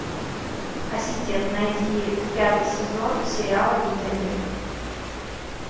ассистент найди пятый сезон сериала викинги